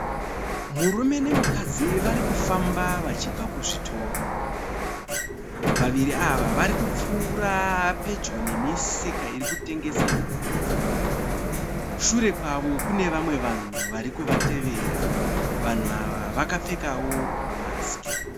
Murume nemukadzi varikufamba vachibva kuzvitoro. Vaviri ava vari kupfuura pedyo nemisika iri kutengesa nhumbi. Shure kwavo kune vamwe vanhu vari kuvatevera. Vanhu ava vakapfekawo mamasiki.